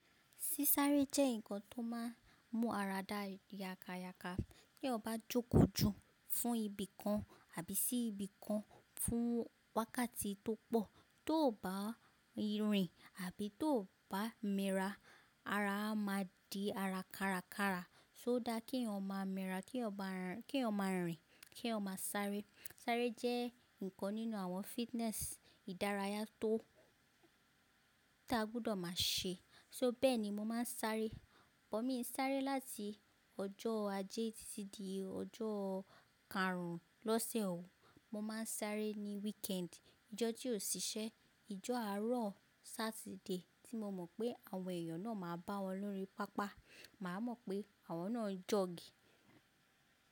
Sísáré jẹ́ ǹkan tó máa ń mú ara da yàkàyàkà. Bí ọ bá jókòó jù fún ibìkan àbí sí ibìkan fún wákàtí tó pọ̀, tó bá rìn àbí tó bá mira, ara a máa di ara káràkárà. So dá kí èèyàn máa mira, kí yọn máa rìn, kí yọn máa sáré. Sáré jẹ́ ǹkan nínú àwọn fitness ìdárayá tó ta gbudọ̀ máa ṣe. So bẹ́ẹ̀ ni mo máa ń sáré. Bọ̀ mí ń sáré láti ọjọ́ ajé títí di ọjọ́ karùn-ún lọ́sẹ̀ òun. Mo máa ń sáré ní weekend, ọjọ́ tí ò ṣiṣẹ́, ọjọ́ àárọ̀ Saturday tí mo mọ̀ pé àwọn èèyàn náà máa bá wọn lórí pápá. Màá mọ̀ pé àwọn náà ń jogi.